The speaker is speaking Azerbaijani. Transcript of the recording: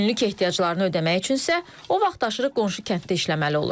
Günlük ehtiyaclarını ödəmək üçün isə o vaxtaşırı qonşu kənddə işləməli olur.